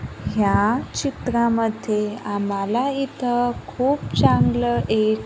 ह्या चित्रामध्ये आम्हाला इथं खूप चांगलं एक--